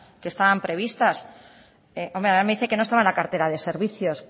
que estaban previstas hombre ahora me dice que no estaban en la cartera de servicios